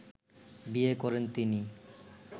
বিয়ে করেন তিনি